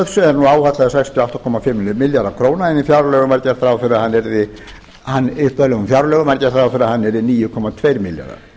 er nú áætlaður sextíu og átta komma fimm milljarðar króna en í upphaflegum fjárlögum var gert ráð fyrir að yrði níu komma tveir milljarðar